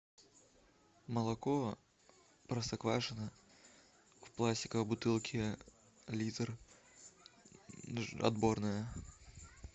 молоко простоквашино в пластиковой бутылке литр отборное